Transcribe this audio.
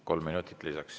Kolm minutit lisaks.